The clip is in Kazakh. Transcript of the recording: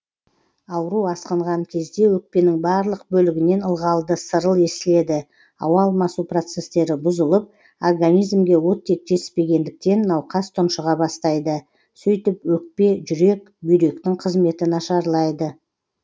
ауру асқынған кезде өкпенің барлық бөлігінен ылғалды сырыл естіледі ауа алмасу процестері бұзылып организмге оттек жетіспегендіктен науқас тұншыға бастайды сөйтіп өкпе жүрек бүйректің қызметі нашарлайды